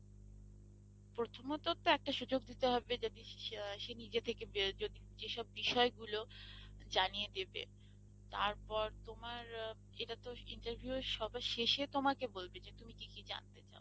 প্রথমত তো একটা সুযোগ দিতে হবে যদি সে নিজের থেকে যেসব বিষয় গুলো জানিয়ে দেবে তারপর তোমার এটাতো interview সবে শেষে তোমাকে বলবে যে তুমি কি কি জানতে চাও?